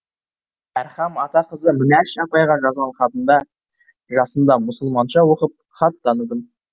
әрхам ата қызы мінәш апайға жазған хатында жасымда мұсылманша оқып хат таныдым